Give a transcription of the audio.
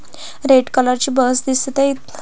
red colour ची bus दिसत अय--